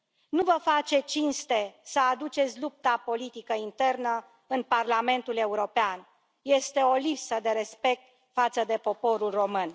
Nu vă face cinste să aduceți lupta politică internă în Parlamentul European, este o lipsă de respect față de poporul român.